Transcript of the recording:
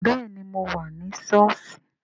Bẹẹni, mo wà ní sọ́ọ̀sì